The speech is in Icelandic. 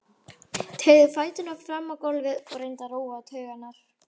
Teygði fæturna fram á gólfið og reyndi að róa taugarnar.